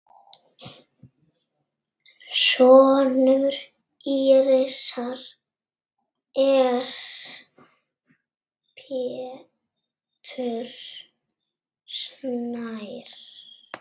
Sonur Írisar er Pétur Snær.